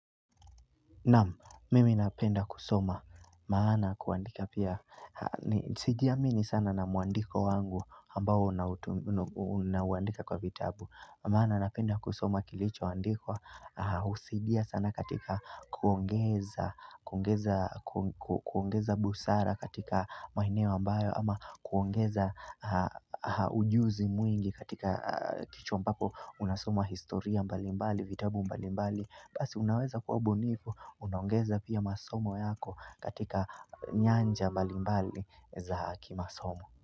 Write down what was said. Naam, mimi napenda kusoma, maana kuandika pia, sijiamini sana na mwandiko wangu ambao unauandika kwa vitabu Maana napenda kusoma kilicho andikwa husaidia sana katika kuongeza busara katika maeneo ambayo ama kuongeza ujuzi mwingi katika kichwa mpapo unasoma historia mbalimbali, vitabu mbalimbali Basi unaweza kuwa bunifu, unaongeza pia masomo yako katika nyanja mbalimbali za kimasomo.